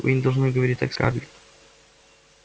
вы не должны говорить так скарлетт